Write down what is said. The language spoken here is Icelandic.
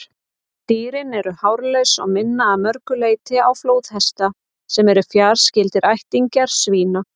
Dýrin eru hárlaus og minna að mörgu leyti á flóðhesta, sem eru fjarskyldir ættingjar svína.